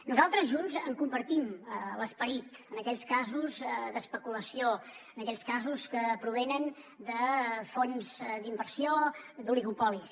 nosaltres junts en compartim l’esperit en aquells casos d’especulació en aquells casos que provenen de fons d’inversió d’oligopolis